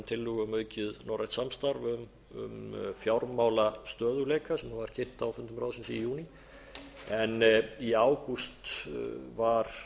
tillögu um aukið norrænt samstarf um fjármálastöðugleika sem var kynnt á fundum ráðsins í júní en í ágúst var